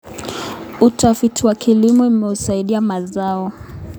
Utafiti wa kilimo umesaidia mazao